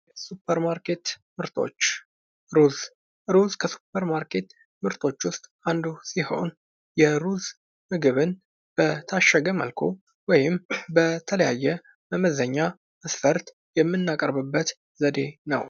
ሱፐር ማርኬት ምርቶ እሮዝ ሮዝ ከሱፐርማርኬቶች ምርቶች ውስጥ አንዱ ሲሆን የሩዝ ምግብን በታሸገ መልኩ ወይም በተለያየ መመዘኛ መስፈርት የምናቀርበውበት ዘዴ ነው::